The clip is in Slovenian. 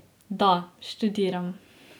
Da, študiram.